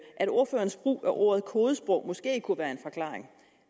at ordførerens brug af ordet kodesprog måske kunne være en forklaring